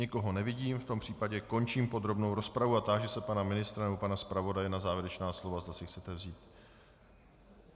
Nikoho nevidím, v tom případě končím podrobnou rozpravu a táži se pana ministra nebo pana zpravodaje na závěrečná slova, zda si chcete vzít.